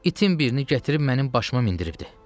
İtin birini gətirib mənim başıma mindiribdi.